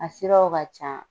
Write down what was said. A siraw ka can.